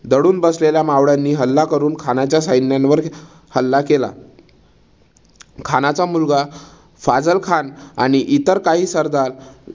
दडून बसलेल्या मावळ्यांनी हल्ला करून खानाच्या सैन्यावर हल्ला केला. खानाचा मुलगा फाझल खान आणि इतर काही सरदार